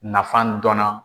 Nafan dɔnna.